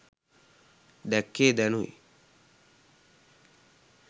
දැක්කේ දැනුයි.